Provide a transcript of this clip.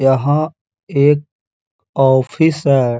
यहाँ एक ऑफिस है।